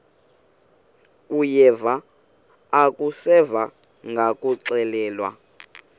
uyeva akuseva ngakuxelelwa